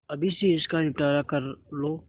अभी से इसका निपटारा कर लो